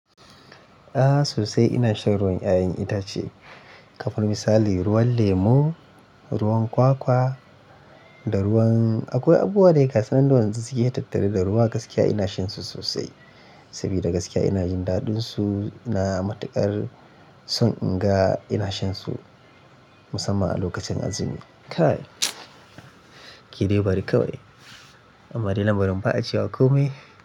A'a sosai ina shan ruwan 'ya'yan itace. Kamar misali ruwan lemo, ruwan kwakwa da ruwan akwai abubuwa dai gasunan da yanzu suke tattare da ruwa gaskiya ina shansu sosai. Sabida gaskiya ina jin daɗinsu na matuƙar son in ga ina shan su musamman a lokacin azumi. Kai ki dai bari kawai. Amma dai lamarin ba'a cewa komai.